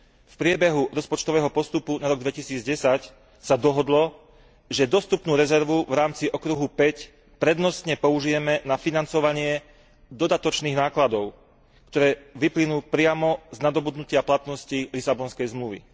V priebehu rozpočtového postupu na rok 2010 sa dohodlo, že dostupnú rezervu v rámci okruhu 5 prednostne použijeme na financovanie dodatočných nákladov, ktoré vyplynú priamo z nadobudnutia platnosti Lisabonskej zmluvy.